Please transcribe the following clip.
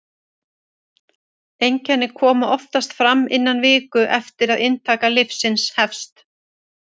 einkenni koma oftast fram innan viku eftir að inntaka lyfsins hefst